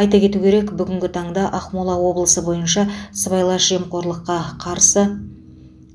айта кету керек бүгінгі таңда ақмола облысы бойынша сыбайлас жемқорлыққа қарсы